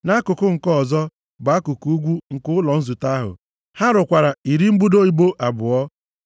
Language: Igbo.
Nʼakụkụ nke ọzọ bụ akụkụ ugwu nke ụlọ nzute ahụ, ha rụkwara iri mbudo ibo abụọ,